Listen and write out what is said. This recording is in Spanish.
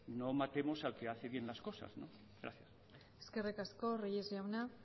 no matemos al que hace bien las cosas gracias eskerrik asko reyes jauna